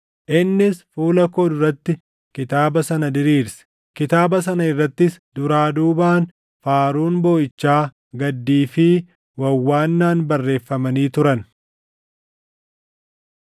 innis fuula koo duratti kitaaba sana diriirse. Kitaaba sana irrattis, duraa duubaan faaruun booʼichaa, gaddii fi wawwaannaan barreeffamanii turan.